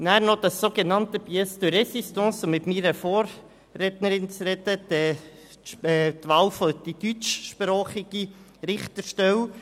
Nun noch das sogenannte Pièce de Résistance, wie es meine Vorrednerin genannt hat, die Wahl für die deutschsprachige Richterstelle: